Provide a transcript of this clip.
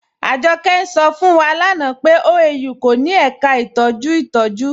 Ajọkẹ̀ ń ṣọ̀ fún wa lánà pé OAU kò ní èká ìtọjú ntọ̀jú.